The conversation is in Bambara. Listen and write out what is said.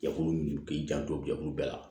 Jɛkulu min k'i janto jɛkulu bɛɛ la